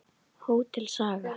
Hótel Saga.